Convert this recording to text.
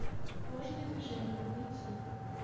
ложные движения найти